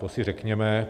To si řekněme.